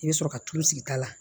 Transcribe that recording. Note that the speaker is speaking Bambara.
I bɛ sɔrɔ ka tulu sigi ta la